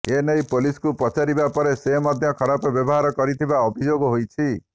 ଏନେଇ ପୋଲିସକୁ ପଚାରିବା ପରେ ସେ ମଧ୍ୟ ଖରାପ ବ୍ୟବହାର କରିଥିବା ଅଭିଯୋଗ ହୋଇଛି